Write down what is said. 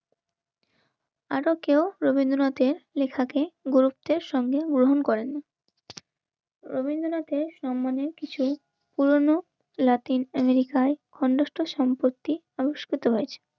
আরো কেউ রবীন্দ্রনাথের লেখাকে গুরুত্বের সঙ্গে গ্রহণ করেন. রবীন্দ্রনাথের সম্মানে কিছু পুরনো ল্যাকটিন আমেরিকায় অন্তস্থ সম্পত্তি আবিষ্কৃত হয়েছে.